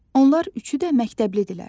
Onlar üçü də məktəblidirlər.